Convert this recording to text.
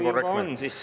Kui juba on, siis …